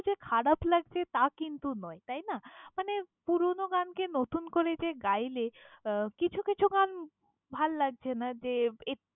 খারাপ লাগছে তা কিন্তু নয়, তাই না! মানে পুরোনো গান কে নতুন করে যে গাইলে আহ কিছু কিছু গান ভাল্লাগছে না যে এক~।